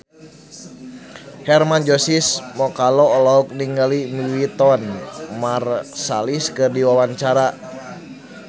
Hermann Josis Mokalu olohok ningali Wynton Marsalis keur diwawancara